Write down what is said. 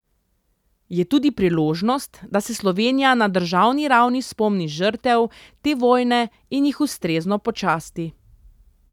Je tudi priložnost, da se Slovenija na državni ravni spomni žrtev te vojne in jih ustrezno počasti.